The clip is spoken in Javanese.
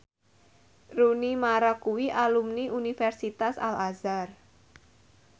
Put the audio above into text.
Rooney Mara kuwi alumni Universitas Al Azhar